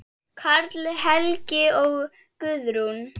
Karl Helgi og Guðrún.